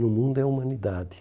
No mundo é humanidade.